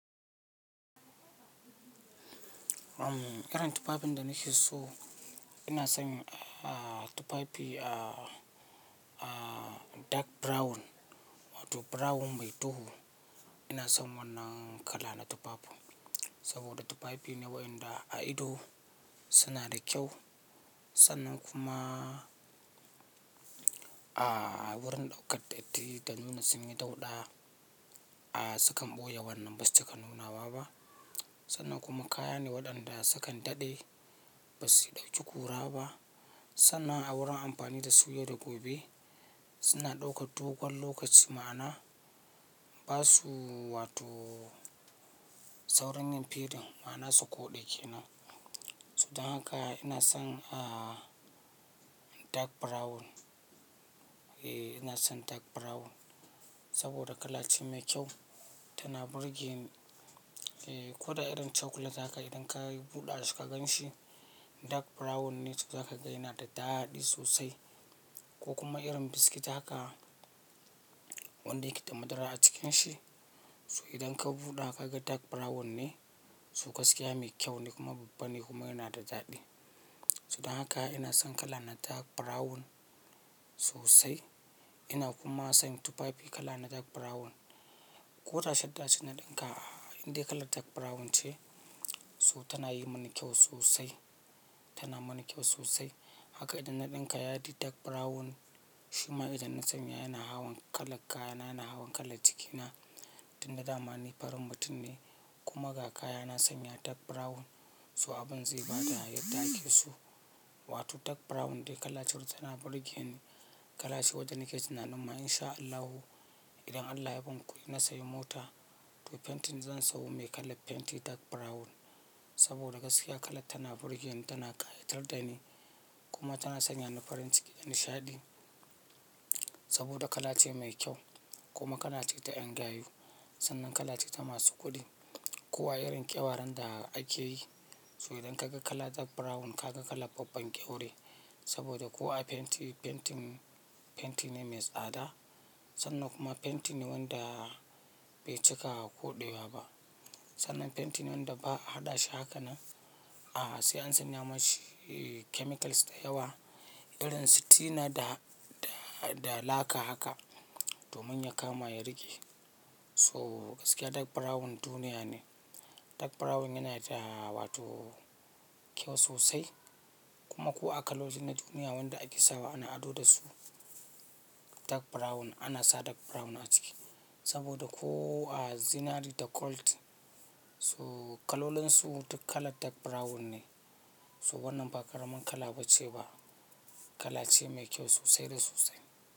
Uhm, irin tufafin da nake so ina son, aah, tufafi, aah, aah, dark brown wato brown mai duhu. Ina son wannan kala na tufafin saboda tufafi ne waƴanda a ido suna da kyau sannan kuma, aah, wurin ɗaukar ɗatti da nuna sun yi dauɗa, aah, sukan ɓoye wannan basu cika nuna wa ba. Sannan kuma kaya ne waɗanda sukan daɗe ba su ɗauki kura ba sannan a wurin amfani da su yau da gobe suna ɗaukar dogon lokaci ma'ana ba su wato saurin yin fedin ma'ana su koɗa ƙenan. So don haka ina son, aah, dark brown. Eeh, ina son dark brown saboda kala ce mai kyau tana burge ni. Eeh, ko da irin chocolate haka idan ka yi buɗa shi ka gan shi dark brown ne to zaka ga yana da daɗi sosai ko kuma irin biscuit haka wanda yake da madara a cikin shi. So idan ka buɗa ka ga dark brown ne, so gaskiya mai kyau ne kuma babban ne kuma yana da daɗi. So don haka ina son kala na dark brown sosai. Ina kuma son tufafi kala na dark brown ko ta shadda ce na ɗinka inde kalar dark brown ce so tana yi mani kyau sosai, tana mani kyau sosai. Haka idan na ɗinka yadi dark brown shima idan na sanya yana hawan kalan kayana, yana hawan kalan jikina tun da damani farin mutum ne kuma ga kaya na sanya dark brown so abun zai ba da yadda ake so. Wato dark brown dai kala ce wacce tana burge ni. Kala ce wadda nake tunanin ma in sha Allahu idan Allah ya ban kuɗi na sayi mota to fentin zan sayo mai kalan fenti dark brown saboda gaskiya kala tana burge ni, tana ƙayatar da ni kuma tana sanya ni farin nishaɗi saboda kala ce mai kyau kuma kala ce ta ƴan gayu sannan kala ce ta masu kuɗi. Ko a irin ƙyawaran da ake yi so idan ka ga kala dark brown ka ga kala babban kyaure saboda ko a fenti, fentin, fenti ne me tsada sannan kuma fenti ne wanda bai cika koɗewa ba. Sannan fenti ne wanda ba a haɗa shi haka nan, aah, sai an sanya mashi, ee, chemicals da yawa irin su tina da, da, da laka haka domin ya kama ya riƙe. So gaskiya dark brown duniya ne. Dark brown yana da wato kyau sosai kuma ko a kalolin na duniya wanda ake sawa ana ado da su dark brown ana sa dark brown a ciki saboda ko a zinari da gold so kalolin su duka kala dark brown ne. So wannan ba ƙaramin kala ba ce ba, kala ce mai kyau sosai da sosai.